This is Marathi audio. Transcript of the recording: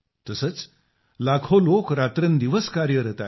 तसेच लाखो लोक रात्रंदिवस कार्यरत आहेत